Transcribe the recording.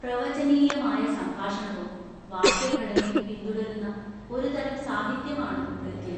പ്രവചനീയമായ സംഭാഷണവും വാക്യഘടനയും പിന്തുടരുന്ന ഒരു തരം സാഹിത്യമാണ് ഗദ്യം.